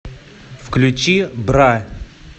включи бра